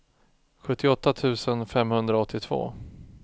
sjuttioåtta tusen femhundraåttiotvå